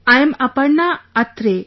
I am Aparna Athare